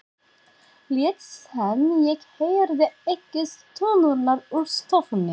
Lét sem ég heyrði ekki stunurnar úr stofunni.